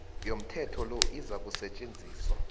yomthetho lo izakusetjenziswa